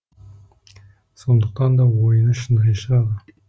сондықтан да ойыны шынайы шығады